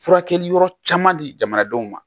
Furakɛli yɔrɔ caman di jamanadenw ma